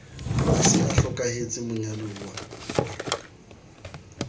a se a hlokahetse monyaduwa